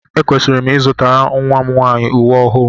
Ekwesịrị m ịzụtara nnwa m nwaanyị uwe ọhụụ